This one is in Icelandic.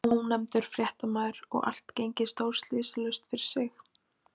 Ónefndur fréttamaður: Og allt gengið stórslysalaust fyrir sig?